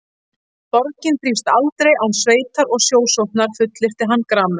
Borgin þrífst aldrei án sveitar og sjósóknar fullyrti hann gramur.